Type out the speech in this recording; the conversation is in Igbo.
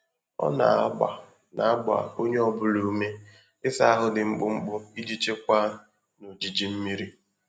Ọ na-agba na-agba onye ọ bụla ume ịsa ahụ dị mkpụmkpụ iji chekwaa na ojiji mmiri.